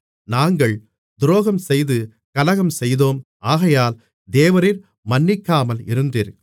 நாங்கள் துரோகம்செய்து கலகம்செய்தோம் ஆகையால் தேவரீர் மன்னிக்காமல் இருந்தீர்